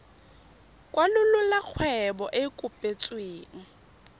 kwalolola kgwebo e e kopetsweng